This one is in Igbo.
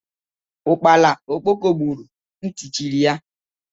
Ukpana okpoko buuru ntị chiri ya.